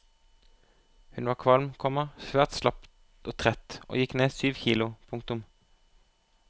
Hun var kvalm, komma svært slapp og trett og gikk ned syv kilo. punktum